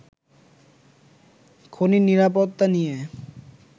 খনির নিরাপত্তা নিয়ে